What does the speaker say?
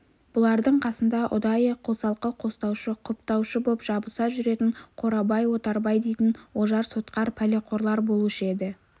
бұлардың қасында ұдайы қосалқы қостаушы құптаушы боп жабыса жүретін қорабай отарбай дейтін ожар-сотқар пәлеқорлар болушы еді